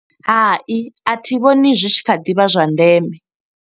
Hai, athi vhoni zwi tshi kha ḓivha zwa ndeme.